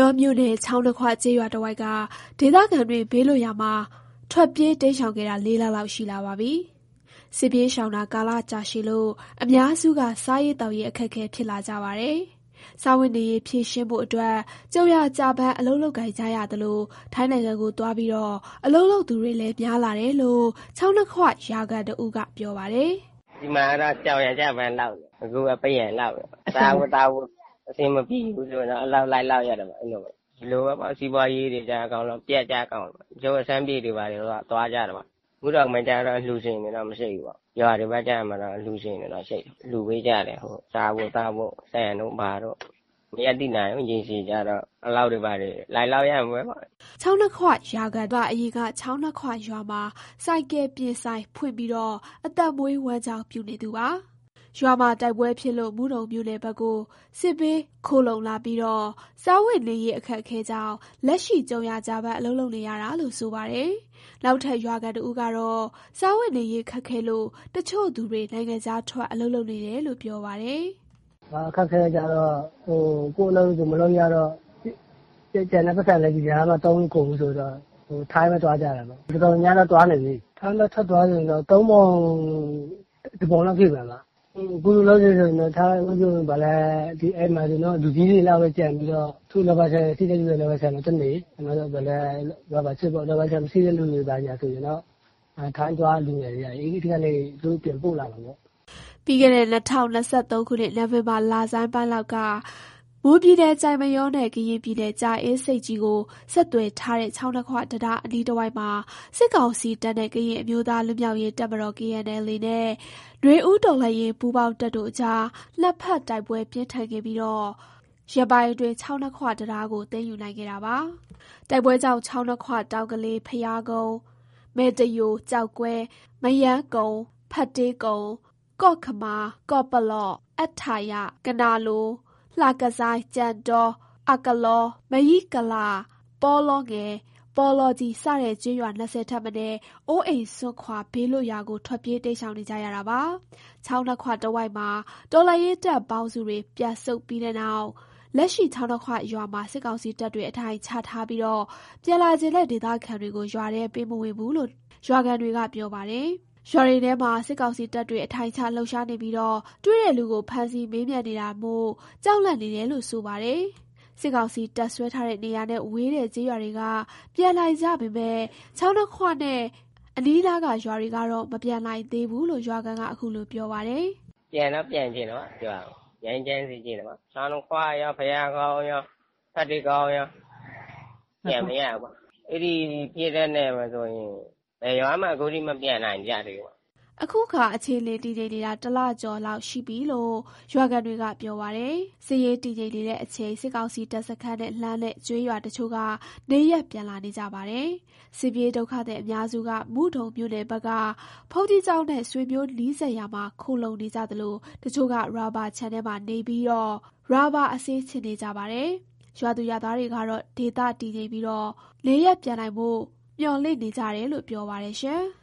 ောမြို့နယ် ချောင်းနှစ်ခွ ကျေးရွာတဝိုက်က ဒေသခံတွေ ဘေးလွတ်ရာမှာ ထွက်ပြေး တိမ်းရှောင်ခဲ့တာ ၄ လလောက်ရှိလာပါပြီ။ စစ်ပြေးရှောင်တာ ကာလကြာရှည်လို့ အများစုက စားရေးသောက်ရေးအခက်အခဲဖြစ်လာကြပါတယ်။ စားဝတ်နေရေး ဖြေရှင်းဖို့အတွက် ကြုံရာကျပန်းအလုပ်လုပ်ကိုင်နေကြသလို ထိုင်းနိုင်ငံကိုသွားပြီး အလုပ်လုပ်သူတွေ များလာတယ်လို့ ချောင်းနှစ်ခွရွာခံ တဦးက ပြောပါတယ်။ “ဒီမှာတော့ ကြုံရာကျပန်းလုပ်နေတယ်။ အခုက ပန်းရံလုပ်နေတယ်ပေါ့။ စားဖို့သောက်ဖို့ အဆင်မပြေဘူးဆိုတော့ အလုပ်လိုက်လုပ်ရတာပေါ့။ ဒီလိုပါပဲ စီးပွားရေးတွေပျက်ကျကုန်တယ်ပေါ့။ တချို့က ရှမ်းပြည်တွေ ဘာတွေသွားကြတာပေါ့။ မုဒုံမှာကျတော့ အလှူရှင်တွေတော့မရှိဘူးပေါ့။ ရွာတွေဘက်ကျ အလှူရှင်တွေတော့ရှိတယ်။ လှူပေးကြတယ်။ စားဖို့သောက်ဖို့ ဆန်တို့ ဘာတို့ပေါ့။ မရပ်တည်နိုင်ဘူး ရေရှည်ကျတော့ အလုပ်တွေဘာတွေ လုပ်လိုက်ရမှာပဲပေါ့။” သူကတော့ အရင်က ချောင်းနှစ်ခွရွာမှာ ဆိုင်ကယ်ပြင်ဆိုင်ဖွင့်ပြီး အသက်မွေးဝမ်းကြောင်းပြုနေသူပါ။ ရွာမှာ တိုက်ပွဲဖြစ်လို့ မုဒုံမြို့နယ်ဘက်ကို စစ်ဘေးခိုလှုံလာပြီး စားဝတ်နေရေးအခက်အခဲကြောင့် လက်ရှိ ကြုံရာကျပန်းအလုပ်လုပ်နေရတာလို့ ဆိုပါတယ်။ နောက်ထပ် ရွာခံတဦးက စားဝတ်နေရေးခက်ခဲလို့ တချို့သူတွေ နိုင်ငံခြားထွက် အလုပ်လုပ်နေတယ်လို့ ပြောပါတယ်။ “အခက်အခဲတွေကျတော့ ကိုယ့်အလုပ်ကိုမလုပ်ရတော့ စုထားတဲ့ပိုက်ဆံတွေလည်း ဒီကြာမှာသုံးလို့ကုန်ပြီဆိုတော့ ထိုင်းပဲသွားကြတာပေါ့။ တော်တော်များများတော့ သွားနေပြီး၊ ထိုင်းဘက်က ထွက်သွားတဲ့လူတော့ သုံးပုံ တစ်ပုံဖြစ်မယ်။ အခုလောလောဆယ် အိမ်မှာဆိုရင်တော့ လူကြီးတွေလောက်ပဲကျန်ပြီးတော့ တချို့ရာဘာရှိတဲ့လူက ရာဘာခြံမှာသွားနေ ရာဘာခြစ်ပေါ့။ ရာဘာခြံမရှိတဲ့လူတွေ ဘာညာဆိုရင်တော့ လူငယ်တွေက ထိုင်းသွား အဲ့ဒီကနေ သူတို့ပြန်ပို့လာတာပေါ့။” ပြီးခဲ့တဲ့ ၂၀၂၃ ခုနှစ် နိုဝင်ဘာလဆန်ပိုင်းလောက်က မွန်ပြည်နယ် ကျိုက်မရောနဲ့ ကရင်ပြည်နယ် ကြာအင်းဆိပ်ကြီးကို ဆက်သွယ်ထားတဲ့ ချောင်းနှစ်ခွတံတားအနီးတဝိုက်မှာ စစ်ကောင်စီတပ်နဲ့ ကရင်အမျိုးသားလွတ်မြောက်ရေး တပ်မတော် နဲ့ နွေဦးတော်လှန်ရေးပူးပေါင်းတပ်တို့အကြား နှစ်ဖက်ပြင်းထန်ဖြစ်ခဲ့ပြီး ရက်ပိုင်းအတွင်း ချောင်းနှစ်ခွတံတားကို သိမ်းယူနိုင်ခဲ့တာပါ။ တိုက်ပွဲကြောင့် ချောင်းနှစ်ခွ၊ တောင်ကလေး၊ ဘုရားကုန်း၊ မယ်တယို၊ ကျောက်ကွဲ၊ မရမ်းကုန်း၊ ဖက်တေးကုန်း၊ ကော့ခမာ၊ ကော့ပလော့၊ အတ္ထရံ၊ ကနာလို၊ လှကဇိုင်း၊ ကြံတော၊ အကလော၊ မရိကလ၊ ပေါလောငယ်၊ ပေါလောကြီး စတဲ့ ကျေးရွာ ၂၀ ထက်မနည်း အိုးအိမ်စွန့်ခွာ ဘေးလွတ်ရာကို ထွက်ပြေးတိမ်းရှောင်နေကြရတာပါ။ ချောင်းနှစ်ခွတဝိုက်မှာ တော်လှန်ရေးတပ်ပေါင်းစုတွေ ပြန်ဆုတ်ပြီးနောက် လက်ရှိ ချောင်းနှစ်ခွရွာမှာ စစ်ကောင်စီတပ်တွေ အထိုင်ချထားပြီး ပြန်လာချင်တဲ့ ဒေသခံတွေကို ရွာထဲ ပေးမဝင်ဘူးလို့ ရွာခံတွေက ပြောကြပါတယ်။ ရွာတွေထဲမှာ စစ်ကောင်စီတပ်တွေ အထိုင်ချ လှုပ်ရှားနေပြီး တွေ့တဲ့လူကို ဖမ်းဆီးမေးမြန်းနေတာမို့ ကြောက်လန့်နေတယ်လို့ ဆိုပါတယ်။ စစ်ကောင်စီတပ်စွဲထားတဲ့ နေရာနဲ့ဝေးတဲ့ ကျေးရွာတွေက ပြန်နိုင်ကြပေမယ့် ချောင်းနှစ်ခွနဲ့အနီးအနားရွကတော့ မပြန်နိုင်သေးဘူးလို့ ရွာခံက ခုလို ပြောပါတယ်။ “ပြန်တော့ ပြန်ချင်တာပေါ့ ရွာကို၊ ငြိမ်းချမ်းစေချင်တာပေါ့။ ချောင်းနှစ်ခွရော၊ ဘုရားကုန်း၊ ဖက်သေးကုန်းရော၊ ပြန်မရဘူးပေါ့ အဲ့ဒီစစ်တပ်နယ်မှာဆိုရင် ဘယ်ရွာမှာအခုထိ မပြန်နိုင်ကြသေးဘူးပေါ့။” အခုအခါ အခြေအနေ တည်ငြိမ်နေတာ ၁ ကျော်လောက်ရှိပြီလို့ ရွာခံတွေပြောပါတယ်။ စစ်ရေးတည်ငြိမ်နေတဲ့ အချိန် စစ်ကောင်စီတပ်စခန်းနဲ့ လှမ်းတဲ့ ကျေးရွာတချို့က နေရပ်ပြန်လာနေကြပါတယ်။ စစ်ပြေးဒုက္ခသည်အများစုက မုဒုံမြို့နယ်ဘက်က ဘုန်းကြီးကျောင်းနဲ့ ဆွေမျိုးနီးစပ်ရာမှာ ခိုလှုံနေကြသလို တချို့က ရာဘာခြံမှာနေရင် ရာဘာအစေးခြစ်နေကြပါတယ်။ ရွာသူရွာသားတွေကတော့ ဒေသတည်ငြိမ်ပြီး နေရပ်ပြန်နိုင်ဖို့ မျှော်လင့်နေကြတယ်လို့ ပြောပါတယ်။